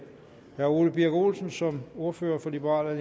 herre ole birk olesen som ordfører for liberal